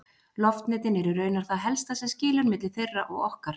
Loftnetin eru raunar það helsta sem skilur milli þeirra og okkar!